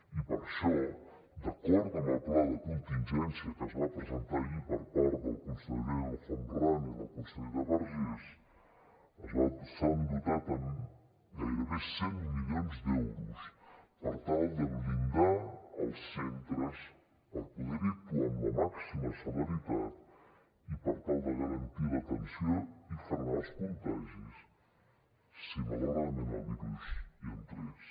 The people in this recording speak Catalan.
i per això d’acord amb el pla de contingència que es va presentar ahir per part del conseller el homrani i la consellera vergés s’ha dotat amb gairebé cent milions d’euros per tal de blindar els centres per poder hi actuar amb la màxima celeritat i per tal de garantir l’atenció i frenar els contagis si malauradament el virus hi entrés